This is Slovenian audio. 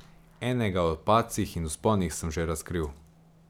Enega, o padcih in vzponih, sem že razkril.